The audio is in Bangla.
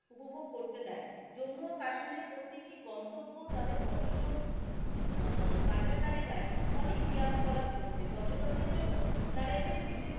উপভোগ করতে দেয় জম্মু ও কাশ্মীরের প্রতিটি গন্তব্য তাদের পর্যটক উম বাজার তালিকায় অনেক রিয়াবকলাপ করছে পর্যটকদের জন্য তারা এখানে বিভিন্ন,